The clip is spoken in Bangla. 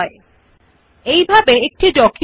each point starts with a bullet or a number